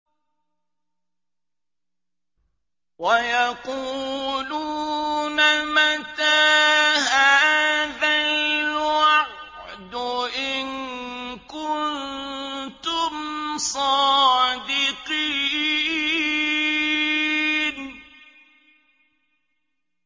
وَيَقُولُونَ مَتَىٰ هَٰذَا الْوَعْدُ إِن كُنتُمْ صَادِقِينَ